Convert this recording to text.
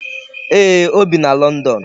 Eeh, o bi na London